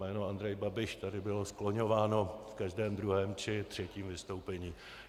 Jméno Andrej Babiš tady bylo skloňováno v každém druhém či třetím vystoupení.